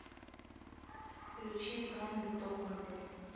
включи френды топ модель